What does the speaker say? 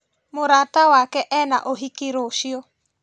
Mũrata wake ena ũhiki rũciũ